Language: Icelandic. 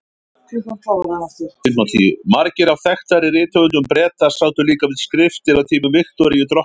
Margir af þekktari rithöfundum Breta sátu líka við skriftir á tímum Viktoríu drottningar.